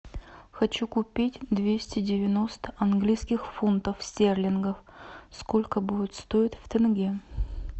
хочу купить двести девяносто английских фунтов стерлингов сколько будет стоить в тенге